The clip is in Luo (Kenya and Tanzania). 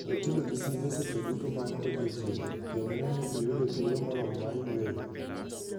We tiyo gi simbe seche duto mag odiechieng', kendo ne ni iyudo thuolo moromo mar yueyo.